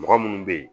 Mɔgɔ munnu be yen